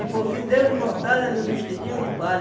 por fim, deu-lhe mortalha no vestidinho de palha.